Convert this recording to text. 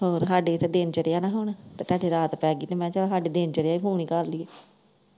roar ਹਾਡੇ ਇੱਧਰ ਦਿਨ ਚੜਿਆ ਨਾ ਹੁਣ ਤੇ ਤਾਂਡੇ ਰਾਤ ਪੈ ਗਈ ਤੇ ਮੈਂ ਕਿਹਾ ਚੱਲ ਹਾਡੇ ਦਿਨ ਚੜਿਆ, ਫੋਨ ਹੀ ਕ